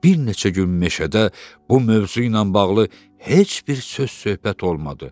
Bir neçə gün meşədə bu mövzu ilə bağlı heç bir söz-söhbət olmadı.